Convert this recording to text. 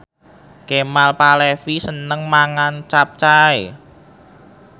Kemal Palevi seneng mangan capcay